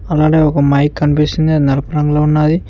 అలానే ఒక మైక్ అనిపిస్తుంది అది నలుపు రంగులో ఉన్నాది.